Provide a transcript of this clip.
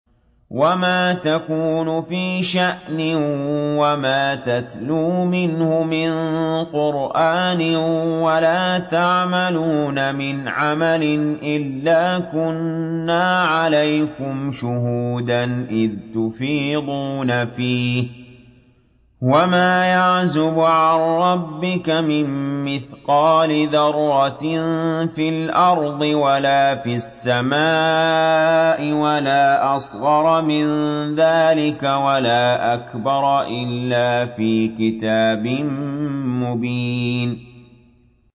وَمَا تَكُونُ فِي شَأْنٍ وَمَا تَتْلُو مِنْهُ مِن قُرْآنٍ وَلَا تَعْمَلُونَ مِنْ عَمَلٍ إِلَّا كُنَّا عَلَيْكُمْ شُهُودًا إِذْ تُفِيضُونَ فِيهِ ۚ وَمَا يَعْزُبُ عَن رَّبِّكَ مِن مِّثْقَالِ ذَرَّةٍ فِي الْأَرْضِ وَلَا فِي السَّمَاءِ وَلَا أَصْغَرَ مِن ذَٰلِكَ وَلَا أَكْبَرَ إِلَّا فِي كِتَابٍ مُّبِينٍ